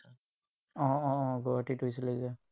উম উম উম গুৱাহাটীত হৈছিলে যে